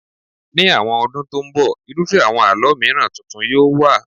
Ní àwọn ọdún tó ń bọ̀, irúfẹ́ àwọn àlọ́ mìiràn tuntun yóò wà.